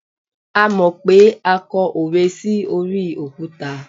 a mọ pé a kọ òwe sí orí òkúta